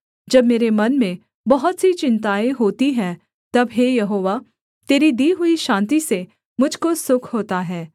जब मेरे मन में बहुत सी चिन्ताएँ होती हैं तब हे यहोवा तेरी दी हुई शान्ति से मुझ को सुख होता है